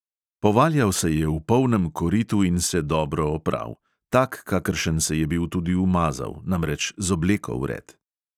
Povaljal se je v polnem koritu in se dobro opral, tak, kakršen se je bil tudi umazal, namreč z obleko vred.